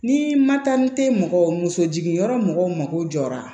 Ni ma taa ni te mɔgɔ musosigiyɔrɔ mɔgɔw ma ko jɔra